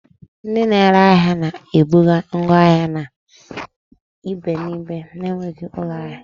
Ndị na-ere ahịa na-ebuga ngwa ahịa na ibe n'ibe na-enweghị ụlọ ahịa